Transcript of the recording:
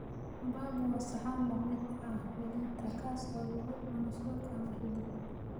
Pap waa saxan la mid ah polenta, kaas oo lagu cuno suugo ama hilib.